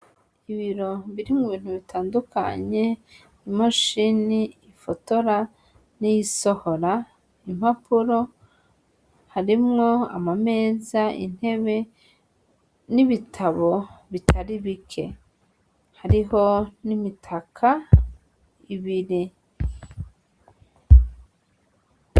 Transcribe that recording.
Ibiro birimwo ibintu bitandukanye, imashini ifotora, n'iyisohora impapuro, harimwo amameza, intebe, n'ibitabo bitari bike, hariho n'imitaka ibiri.